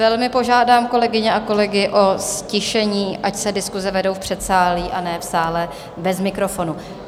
Velmi požádám kolegyně a kolegy o ztišení, ať se diskuse vedou v předsálí, a ne v sále bez mikrofonu.